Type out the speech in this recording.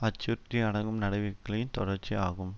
அச்சுறுத்தி அடக்கும் நடவடிக்களின் தொடர்ச்சி ஆகும்